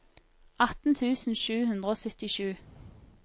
atten tusen sju hundre og syttisju